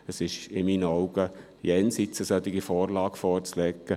Für mich ist es jenseits von Gut und Böse, eine solche Vorlage vorzulegen.